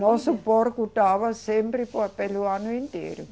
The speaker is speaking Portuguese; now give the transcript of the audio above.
Nosso porco dava sempre por pelo ano inteiro.